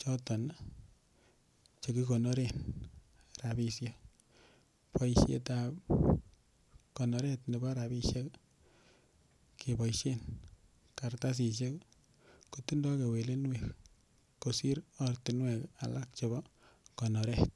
choton chekikonoren rapishek boishetab konoret nebo rapishek keboishen karatasishek kotindoi kewelinwek kosir ortinwek alak chebo konoret